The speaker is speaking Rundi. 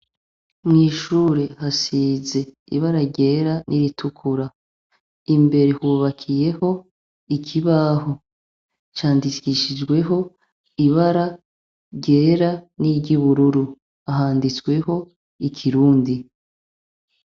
Mw'ishure hasize ibara ryera n'iritukura imbere hubakiyeko ikibaho candikishijweho ibara ryera niry'ubururu; handitseho ikirundi.